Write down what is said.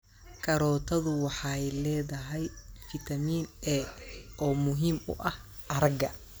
Karootadu waxay leedahay fiitamiin A oo muhiim u ah aragga.